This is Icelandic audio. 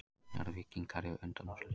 Njarðvíkingar í undanúrslit